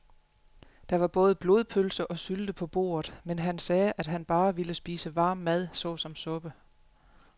Der var både blodpølse og sylte på bordet, men han sagde, at han bare ville spise varm mad såsom suppe.